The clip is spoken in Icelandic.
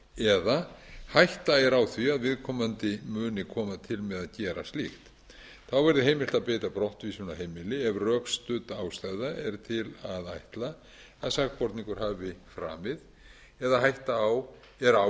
eða hætta er á því að viðkomandi muni koma til með að gera slíkt þá verði heimilt er að beita brottvísun af heimili ef rökstudd ástæða er til að ætla að sakborningur hafi framið eða hætta er á